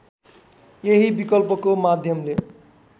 यही विकल्पको माध्यमले